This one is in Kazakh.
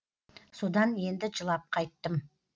содан енді жылап қайттым